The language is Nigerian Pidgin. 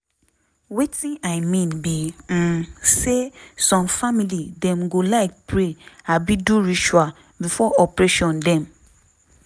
wetin i mean be um say some family dem go like pray abi do ritual before operation dem.